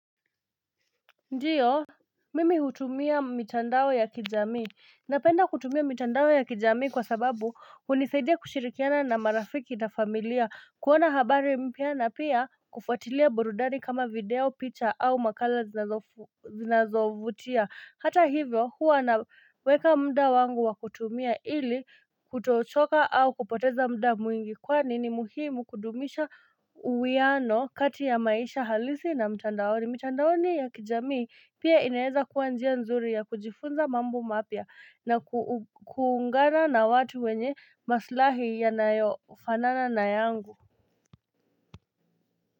Ndiyo, mimi hutumia mitandao ya kijamii, napenda kutumia mitandao ya kijamii kwa sababu hunisaidia kushirikiana na marafiki na familia, kuona habari mpya na pia kufuatilia burudani kama video picha au makala zinazo zinazovutia, hata hivyo huwa naweka muda wangu wa kutumia ili kutochoka au kupoteza muda mwingi kwani ni muhimu kudumisha uwiano kati ya maisha halisi na mitandaoni mitandaoni ya kijamii pia inaweza kuwa njia nzuri ya kujifunza mambo mapya na kuungana na watu wenye maslahi yanayo fanana na yangu.